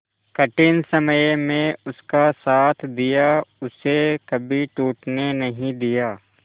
कठिन समय में उसका साथ दिया उसे कभी टूटने नहीं दिया